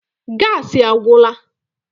Gassi agwụla.